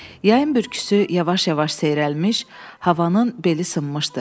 Yayın bürküsü yavaş-yavaş seyrəlmiş, havanın beli sınmışdı.